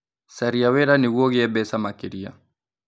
Caria wĩra nĩguo ũgĩe mbeca makĩria.